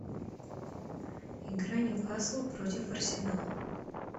игра ньюкасл против арсенала